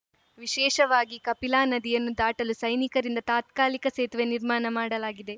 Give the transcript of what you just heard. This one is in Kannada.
ವಿಶೇಷವಾಗಿ ಕಪಿಲಾ ನದಿಯನ್ನು ದಾಟಲು ಸೈನಿಕರಿಂದ ತಾತ್ಕಾಲಿಕ ಸೇತುವೆ ನಿರ್ಮಾಣ ಮಾಡಲಾಗಿದೆ